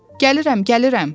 Gəlirəm, gəlirəm.